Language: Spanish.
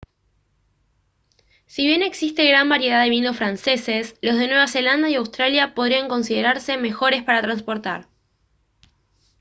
si bien existe gran variedad de vinos franceses los de nueva zelanda y australia podrían considerarse mejores para transportar